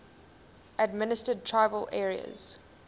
administered tribal areas